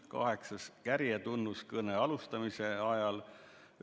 Kaheksandaks, kärjetunnus kõne alustamise ajal.